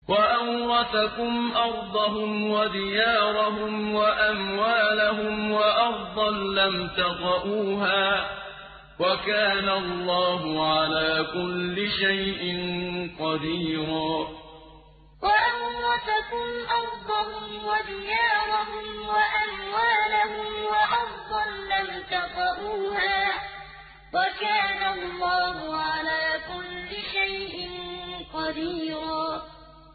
وَأَوْرَثَكُمْ أَرْضَهُمْ وَدِيَارَهُمْ وَأَمْوَالَهُمْ وَأَرْضًا لَّمْ تَطَئُوهَا ۚ وَكَانَ اللَّهُ عَلَىٰ كُلِّ شَيْءٍ قَدِيرًا وَأَوْرَثَكُمْ أَرْضَهُمْ وَدِيَارَهُمْ وَأَمْوَالَهُمْ وَأَرْضًا لَّمْ تَطَئُوهَا ۚ وَكَانَ اللَّهُ عَلَىٰ كُلِّ شَيْءٍ قَدِيرًا